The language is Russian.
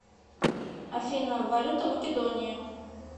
афина валюта македонии